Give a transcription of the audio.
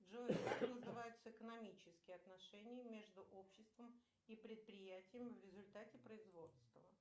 джой как называются экономические отношения между обществом и предприятием в результате производства